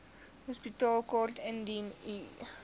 hospitaalkaart indien u